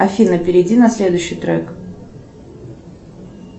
афина перейди на следующий трек